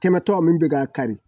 tɛmɛtɔ min bɛ k'a kari